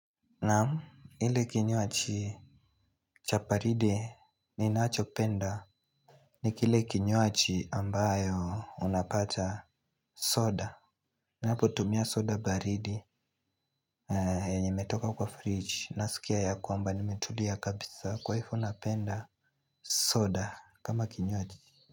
Naa m, ile kinywaji cha baridi ninachopenda ni kile kinywaji ambayo unapata soda. Napotumia soda baridi na yenye imetoka kwa fridge nasikia yakwamba nimetulia kabisa kwa hivo napenda soda kama kinywaji.